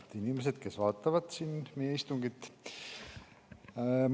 Head inimesed, kes vaatavad meie istungit!